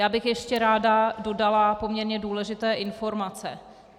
Já bych ještě ráda dodala poměrně důležité informace.